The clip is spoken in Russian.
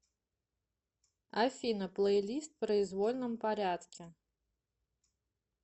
афина плейлист в произвольном порядке